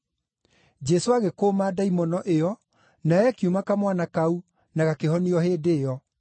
Jesũ agĩkũũma ndaimono ĩyo, nayo ĩkiuma kamwana kau, na gakĩhonio o hĩndĩ ĩyo.